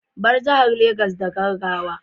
Bar jihar Legas da gaggawa